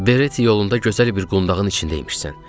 Bereti yolunda gözəl bir qundağın içində imişsən.